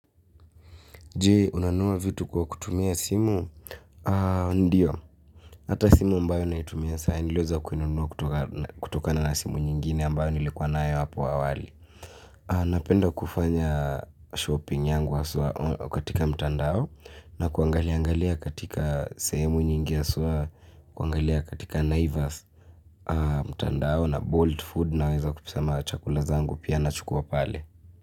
Jee, unanunua vitu kwa kutumia simu? Ndiyo. Hata simu ambayo naitumia sahii niliweza kuinunua kutokana na simu nyingine ambayo nilikuwa nayo hapo awali. Napenda kufanya shopping yangu haswaa katika mtandao na kuangalia katika sehemu nyingi haswaa, kuangalia katika naivas mtandao na bolt food na weza kusema chakula zangu pia na chukua pale.